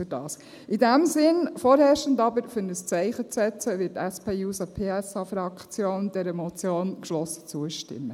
In diesem Sinn, vorherrschend aber, um ein Zeichen zu setzen, wird die SP-JUSO-PSA-Fraktion dieser Motion geschlossen zustimmen.